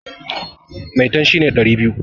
Maitan shi ne ɗari biyu.